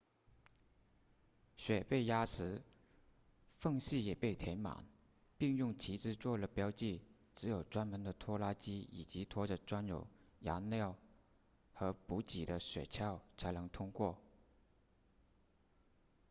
雪被压实缝隙也被填满并用旗帜做了标记只有专门的拖拉机以及拖着装有燃料和补给的雪橇才能通行